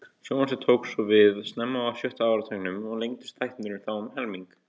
Sjónvarpið tók svo við snemma á sjötta áratugnum og lengdust þættirnir þá um helming.